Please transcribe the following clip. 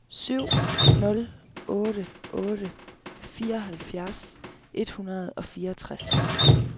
syv nul otte otte fireoghalvfjerds et hundrede og fireogtres